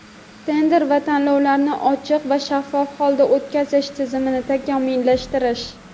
tender va tanlovlarni ochiq va shaffof holda o‘tkazish tizimini takomillashtirish;.